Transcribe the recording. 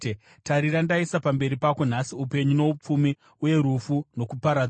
Tarira, ndaisa pamberi pako nhasi upenyu noupfumi, uye rufu nokuparadzwa.